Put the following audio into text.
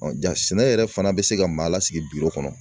ja sɛnɛ yɛrɛ fana bɛ se ka maa lasigi